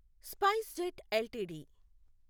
SpiceJet LTD